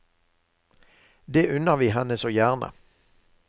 Det unner vi henne så gjerne.